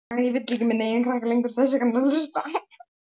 Þú gafst það sem þú gast, mamma.